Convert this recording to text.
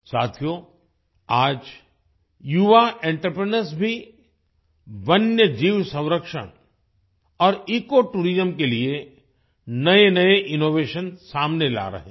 साथियो आज युवा एंटरप्रेन्योर्स भी वन्य जीव संरक्षण और इकोटूरिज्म के लिए नएनए इनोवेशन सामने ला रहे हैं